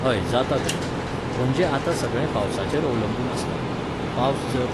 हय जाता गो. म्हणजे आतां सगळें पावसाचेर अवलंबून आसता. पावस जर